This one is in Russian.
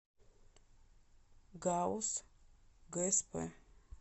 гауз гсп